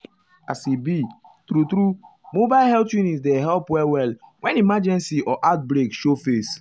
as e be true-true mobile health unit dey help well-well when emergency or outbreak show face.